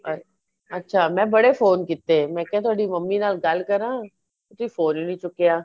ਅਛ ਅੱਛਾ ਮੈਂ ਬੜੇ phone ਕਿਤੇ ਮੈਂ ਕਿਆ ਤੁਹਾਡੀ ਮਮੀ ਨਾਲ ਗੱਲ ਕਰਾ ਤੁਸੀਂ phone ਈ ਨਹੀਂ ਚੁੱਕਿਆ